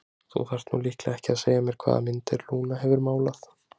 Þú þarft nú líklega ekki að segja mér hvaða myndir Lúna hefur málað.